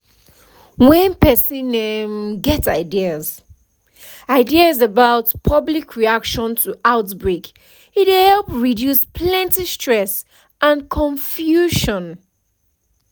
when person um get ideas ideas about public reaction to outbreak e dey help reduce plenty stress and confusion